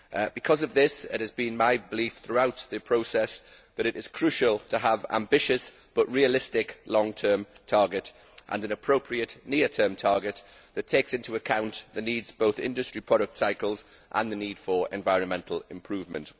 Because of this, it has been my belief throughout the process that it is crucial to have an ambitious but realistic long term target and an appropriate short term target that takes into account both the needs of industry product cycles and the need for environmental improvement.